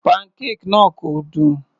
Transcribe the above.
Pancake náà kò dùn.